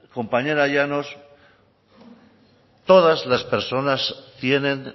compañera llanos todas las personas tienen